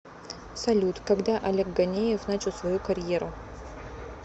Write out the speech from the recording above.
салют когда олег ганеев начал свою карьеру